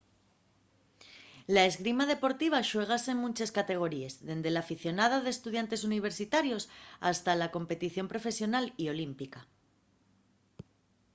la esgrima deportiva xuégase en munches categoríes dende l'aficionada d'estudiantes universitarios hasta la competición profesional y olímpica